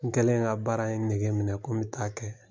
N kɛlen ka baara in nɛgɛminɛ ko n bɛ ta'a kɛ